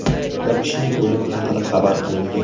Bir kishining o‘limi haqida xabar qilingan.